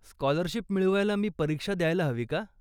Scholarship मिळवायला मी परीक्षा द्यायला हवी का?